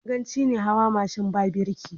Ganganci ne hawa mashin ba birki.